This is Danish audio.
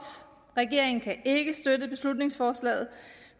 regeringen kan ikke støtte beslutningsforslaget